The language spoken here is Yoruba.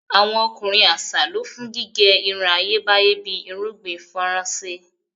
Awọn ọkunrin aṣa lọ fun gige irun Ayebaye bi irugbin Faranse